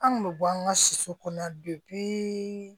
An kun bɛ bɔ an ka soso kɔnɔ